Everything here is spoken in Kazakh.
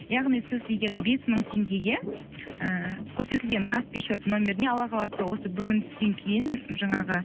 яғни сіз деген бес мың теңгеге ыыы көрсетілген каспий шот нөміріне алла қаласа осы бүгін түстен кейін жаңағы